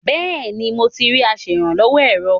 Bẹ́́ẹ̀ni, mo ti rí aṣèrànlọ́wọ́ èrò.